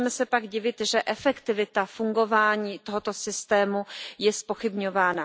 Nemůžeme se pak divit, že efektivita fungování tohoto systému je zpochybňována.